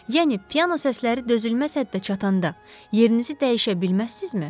Yəni piano səsləri dözülməz həddə çatanda, yerinizi dəyişə bilməzsizmi?